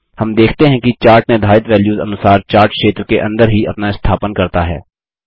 हम देखते हैं कि चार्ट निर्धारित वैल्यूस अनुसार चार्ट क्षेत्र के अंदर ही अपना स्थापन करता है